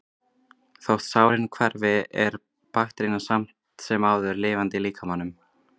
Þótt sárin hverfi er bakterían samt sem áður lifandi í líkamanum.